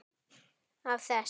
Af þess